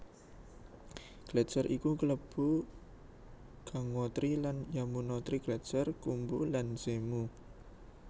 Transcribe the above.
Gletser iku kelebu Gangotri lan Yamunotri Gletser Khumbu lan Zemu